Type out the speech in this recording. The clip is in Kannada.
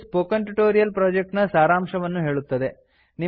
ಇದು ಸ್ಪೋಕನ್ ಟ್ಯುಟೋರಿಯಲ್ ಪ್ರೊಜೆಕ್ಟ್ ನ ಸಾರಾಂಶವನ್ನು ಹೇಳುತ್ತದೆ